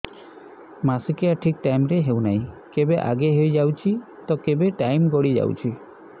ମାସିକିଆ ଠିକ ଟାଇମ ରେ ହେଉନାହଁ କେବେ ଆଗେ ହେଇଯାଉଛି ତ କେବେ ଟାଇମ ଗଡି ଯାଉଛି